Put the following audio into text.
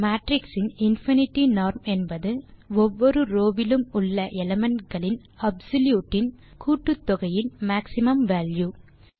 ஒரு மேட்ரிக்ஸ் இன் infinity norm என்பது ஒவ்வொரு ரோவ் விலும் உள்ள எலிமெண்ட் களின் அப்சொல்யூட் இன் கூட்டுத்தொகையின் மேக்ஸிமம் வால்யூ